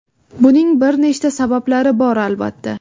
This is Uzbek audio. Buning bir nechta sabablari bor, albatta.